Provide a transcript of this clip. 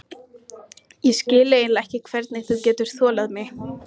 Ég skil eiginlega ekki hvernig þú getur þolað mig.